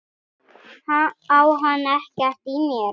Á hann ekkert í mér?